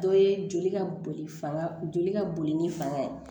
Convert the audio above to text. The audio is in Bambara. Dɔ ye joli ka boli fanga joli ka boli ni fanga ye